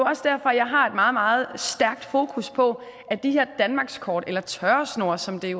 også derfor at jeg har et meget meget stærkt fokus på at de her danmarkskort eller tørresnore som det